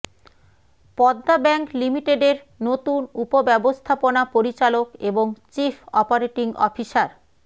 Padma bank লিমিটেডের নতুন উপব্যবস্থাপনা পরিচালক এবং চিফ অপারেটিং অফিসার